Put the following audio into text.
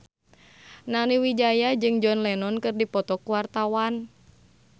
Nani Wijaya jeung John Lennon keur dipoto ku wartawan